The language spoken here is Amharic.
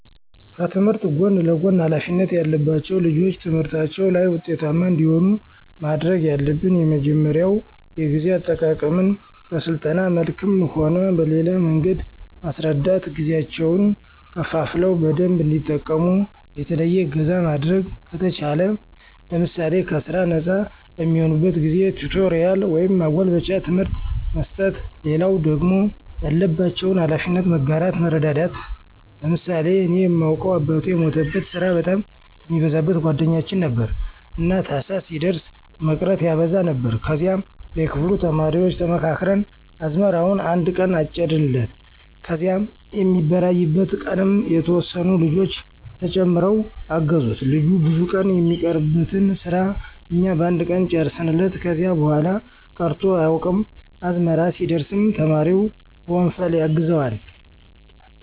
ከትምህርት ጎን ለጎን ሀላፊነት ያለባቸው ልጆች ትምህርታቸው ላይ ውጤታማ እንዲሆኑ ማድረግ ያለብን የመጀመሪያው የጊዜ አጠቃቀመን በስልጠና መልክም ሆነ በሌላ መንገድ መስረዳት ጊዜያቸውን ከፋፍለው በደንብ እንዲጠቀሙ፣ የተለየ እገዛ ማድረግ ከተቻለ ማድረግ ለምሳሌ ከስራ ነጻ በሚሆኑበት ጊዜ ቲቶሪያል ወይም ማጎልበቻ ትምህርት መስጠት። ሌላው ደግሞ ያለባቸውን ሀላፊነት መጋራት መረዳዳት። ለምሳሌ እኔ ማውቀው አባቱ የሞተበት ስራ በጣም የሚበዛበት ጓደኛችን ነበረ። እና ታህሳስ ሲደርስ መቅረት ያበዛ ነበር ከዚያ የክፍሉ ተማሪዎች ተመካክረን አዝመራውን አነድ ቀን አጨድንለት ከዚያ የሚበራይበት ቀንም የተወሰኑ ልጆች ተጨምረው አገዙት ልጁ ብዙ ቀን የሚቀርበትን ስራ እኛ በአንድ ቀን ጨረስንለት። ከዚያ በኋላ ቀርቶ አያውቅም። አዝመራ ሲደርስም ተማሪው በወንፈል ያግዘዋል።